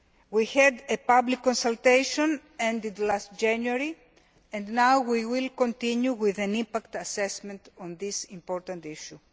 We had a public consultation, which ended last January, and now we will continue with an impact assessment on this important issue.